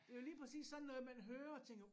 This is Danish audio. Det jo lige præcis sådan noget man hører og tænker